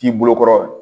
K'i bolo kɔrɔ